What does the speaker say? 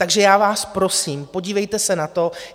Takže já vás prosím, podívejte se na to.